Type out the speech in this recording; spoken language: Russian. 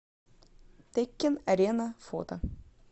теккен арена фото